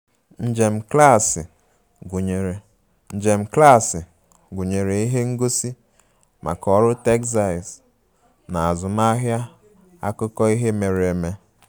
Njem klaasị gụnyere Njem klaasị gụnyere ihe ngosi maka ọrụ textiles na azụmaahịa akụkọ ihe mere eme